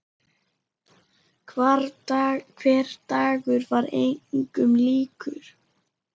Hver dagur var engum líkur.